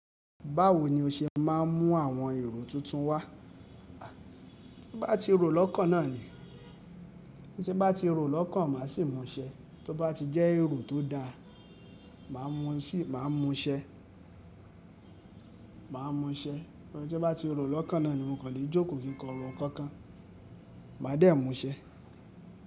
Báwo ni o ṣe má a n mú àwọn èrò tuntun wá? Tí ń bá ti ro lọ́kàn náà ni. Tí ń bá ti ro lọ́kàn màá sì musẹ́, to bá ti jẹ́ èrò tó da, màá musị màá musẹ́. Màá musẹ́. Tí ń bá ti ro lọ́kàn náà ni mo kò lè jókòó kí n kọ rò nkankan, màá dẹ́ musẹ́.